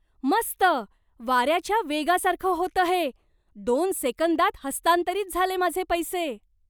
मस्त. वाऱ्याच्या वेगासारखं होतं हे. दोन सेकंदात हस्तांतरित झाले माझे पैसे.